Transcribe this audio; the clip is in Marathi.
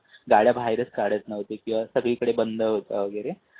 गाड्या बाहेर काढतच नव्हते. किवा सगळीकडे बंद होता वगैरे.